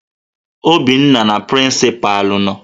Obinna na prịncịpalụ nọ